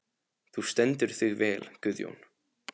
Þú stendur þig vel, Guðjón!